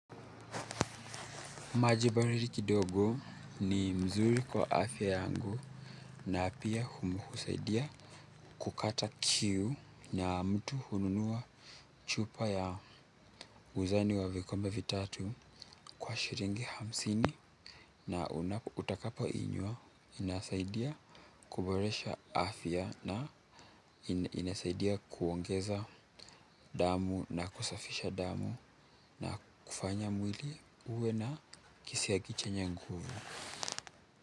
Maji baridi kidogo ni mzuri kwa afya yangu na pia husaidia kukata kiu na mtu hununua chupa ya uzani wa vikombe vitatu kwa shilingi hamsini na utakapo inywa inasaidia kuboresha afya na inasaidia kuongeza damu na kusafisha damu na kufanya mwili uwe na kisiagi chenye nguvu.